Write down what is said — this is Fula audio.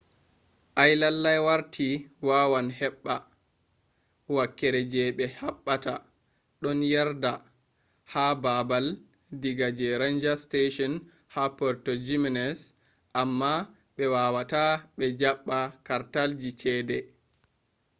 ai lallai warti wawan heɓɓa wakere je be haɓata ɗon yarda ha baabal diga je ranger station ha puerto jimenez amma be wawata ɓe jaɓɓa kartalji ceede